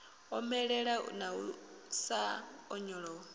omelela na u sa onyolowa